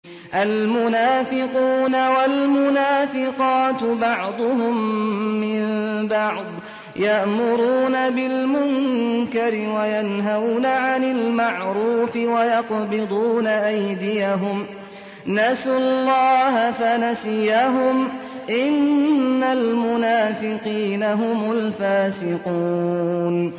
الْمُنَافِقُونَ وَالْمُنَافِقَاتُ بَعْضُهُم مِّن بَعْضٍ ۚ يَأْمُرُونَ بِالْمُنكَرِ وَيَنْهَوْنَ عَنِ الْمَعْرُوفِ وَيَقْبِضُونَ أَيْدِيَهُمْ ۚ نَسُوا اللَّهَ فَنَسِيَهُمْ ۗ إِنَّ الْمُنَافِقِينَ هُمُ الْفَاسِقُونَ